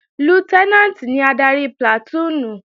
Lútẹ́nàǹtì ni adarí plàtúùnù